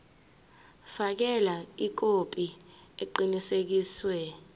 fakela ikhophi eqinisekisiwe